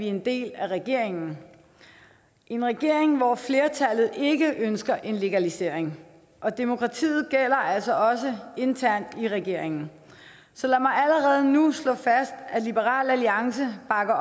en del af regeringen en regering hvor flertallet ikke ønsker en legalisering og demokratiet gælder altså også internt i regeringen så lad mig allerede nu slå fast at liberal alliance bakker